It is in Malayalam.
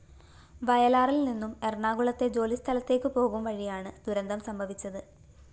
വയലാറില്‍നിന്നും എറണാകുളത്തെ ജോലിസ്ഥലത്തേക്ക് പോകുംവഴിയാണ് ദുരന്തം സംഭവിച്ചത്